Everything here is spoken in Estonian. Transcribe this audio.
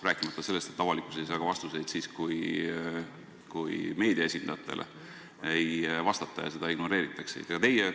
Rääkimata sellest, et avalikkus ei saa vastuseid ka siis, kui meedia esindajatele ei vastata, neid ignoreeritakse.